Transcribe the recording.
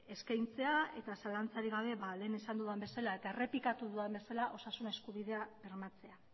eskaintzea eta zalantzarik gabe lehen esan dudan bezala eta errepikatu dudan bezala osasun eskubidea bermatzea